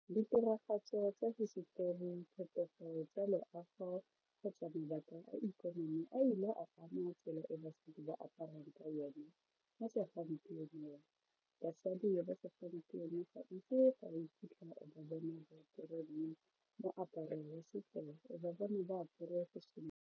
Ditiragatso tsa hisetori diphetogo tsa loago kgotsa mabaka a ikonomi a ile a tsela e basadi ba aparang ka yone ka segompieno wa basadi ba segampieno ga moaparo wa setso ba bona ba apere .